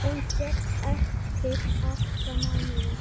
Hún féll eftir átta mánuði.